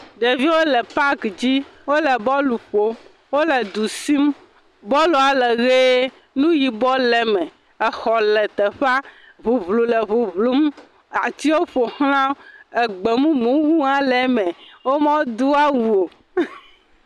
Ɖeviwo le paki dzi wole bɔl ƒom. Wole du sim. Bɔl la le ʋie, nu yibɔ le eme. Xɔ le teƒea. Ŋuŋu le ŋuŋum, atiwo ƒo xlã wo, gbe mumu hã le eme. Womedo awu o.